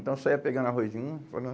Então eu saía pegando arrozinho.